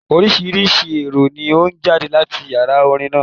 Oríṣiríṣi ìró ni ó ń jáde láti Yàrá orin náà.